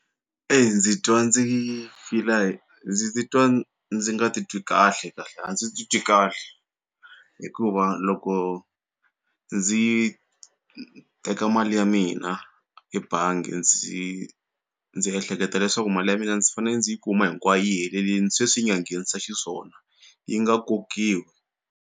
ndzi twa ndzi fila ndzi titwa ndzi nga titwi kahle a ndzi titwi kahle hikuva loko ndzi teka mali ya mina ebangi ndzi ndzi ehleketa leswaku mali ya mina ndzi fanele ndzi yi kuma hinkwayo yi helelili sweswi nga nghenisa xiswona yi nga kokiwi.